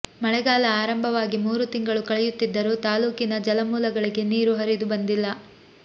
ಮಳೆಗಾಲ ಆರಂಭವಾಗಿ ಮೂರು ತಿಂಗಳು ಕಳೆಯುತ್ತಿದ್ದರೂ ತಾಲೂಕಿನ ಜಲಮೂಲಗಳಿಗೆ ನೀರು ಹರಿದು ಬಂದಿಲ್ಲ